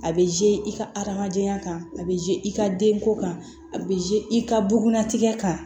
A bɛ i ka adamadenya kan a bɛ i ka denko kan a bɛ i ka bugun natigɛ kan